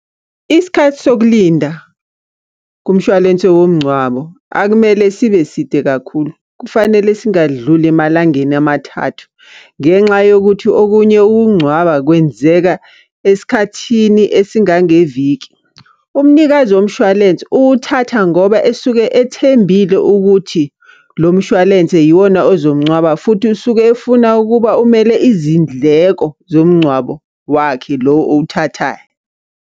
Isikhathi sokulinda, kumshwalense womngcwabo, akumele sibe side kakhulu. Kufanele singadluli emalangeni amathathu. Ngenxa yokuthi okunye ukungcwaba kwenzeka esikhathini esingangeviki. Umnikazi womshwalense uwuthatha ngoba esuke ethembile ukuthi lo mshwalense yiwona ozomngcwaba, futhi usuke efuna ukuba umele izindleko zomngcwabo wakhe lo owuthathayo.